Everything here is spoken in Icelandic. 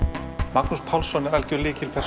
Magnús Pálsson er algjör